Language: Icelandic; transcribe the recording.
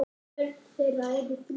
Börn þeirra eru þrjú.